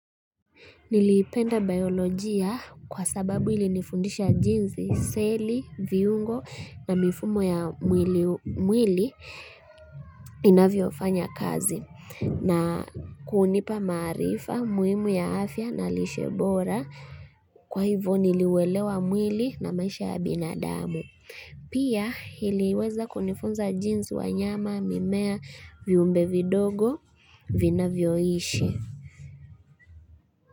Nilipenda biolojia kwa sababu ilinifundisha jinsi, seli, viungo na mifumo ya mwili inavyo fanya kazi na kunipa maarifa, muhimu ya afya na lishebora kwa hivyo niliuelewa mwili na maisha ya binadamu. Pia iliweza kunifunza jinsi wanyama mimea viumbe vindogo vinavyoishi.